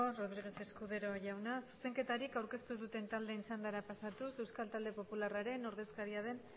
eskerrik asko ramírez escudero jauna zuzenketarik aurkeztu ez duten taldeen txandara pasatuz euskal talde popularraren ordezkaria den